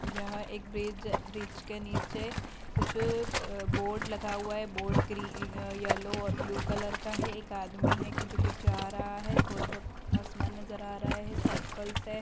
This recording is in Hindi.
यह एक ब्रिज ब्रिज के निचे कुछ ब बोर्ड लगा हुआ है। बोर्ड ग्री इअ यलो और ब्लू कलर का है। एक आदमी है की जो की जा रहा है। थोड़ा बोहत आसमान नज़र आ रहा है। साइकल्स --